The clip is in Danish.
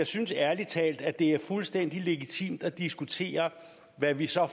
synes ærlig talt at det er fuldstændig legitimt at diskutere hvad vi så